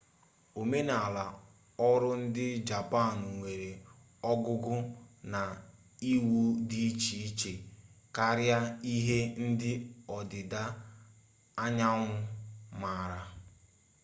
omenala ọrụ ndị japan nwere ogugo na iwu dị iche iche karịa ihe ndị ọdịda anyanwụ maara